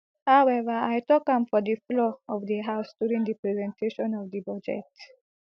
however i tok am for di floor of di house during di presentation of di budget